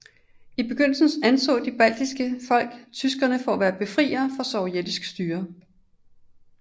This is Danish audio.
I begyndelsen anså de baltiske folk tyskerne for at være befriere fra sovjetisk styre